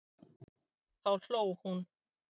Þá hló hún.